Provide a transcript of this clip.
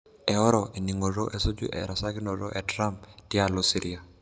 Eoro eningoto esuju erasakinoto e Trump tialo Syria.